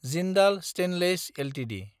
Jindal stainless Ltd